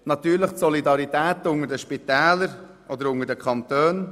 Natürlich ist die Solidarität unter den Kantonen wichtig.